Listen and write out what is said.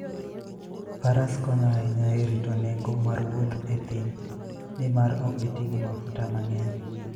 Faras konyo ahinya e rito nengo mar wuoth e thim, nimar ok giti gi mafuta mang'eny.